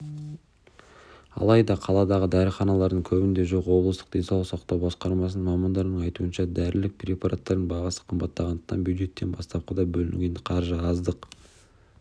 алайда қаладағы дәріханалардың көбінде жоқ облыстық денсаулық сақтау басқармасы мамандарының айтуынша дәрілік препараттардың бағасы қымбаттағандықтан бюджеттен бастапқыда бөлінген қаржы аздық